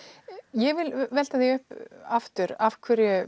ég vil velta því upp aftur af hverju